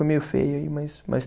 Meio feia aí, mas, mas